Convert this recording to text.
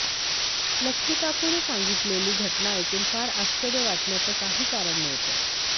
लक्ष्मीकाकूनं सांगितलेली घटना ऐकून फार आश्चर्य वाटण्याचं काही कारण नव्हतं